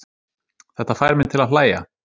Þetta fær mig til að hlægja.